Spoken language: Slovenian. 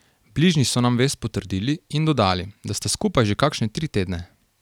Bližnji so nam vest potrdili in dodali, da sta skupaj že kakšne tri tedne.